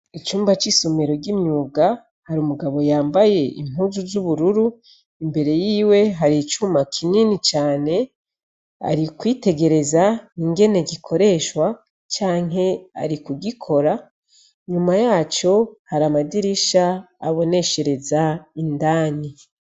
Icumba c'isomero ry'imyuga, hari umugabo yambaye impuzu z'ubururu, imbere yiwe hari icuma kinini cane, ari kwitegereza ingene gikoreshwa canke ari kugikora, inyuma yaco hari amadirisha aboneshereza indani.